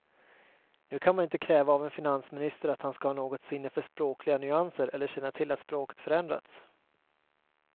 Nu kan man inte kräva av en finansminister att han ska ha något sinne för språkliga nyanser eller känna till att språket förändrats.